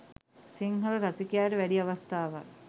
සිංහල රසිකයාට වැඩි අවස්ථාවක්